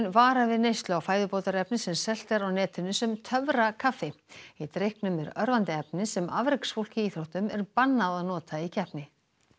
varar við neyslu á fæðubótarefni sem selt er á netinu sem töfrakaffi í drykknum er örvandi efni sem afreksfólki í íþróttum er bannað að nota í keppni